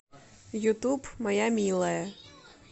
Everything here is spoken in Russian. ютуб моя милая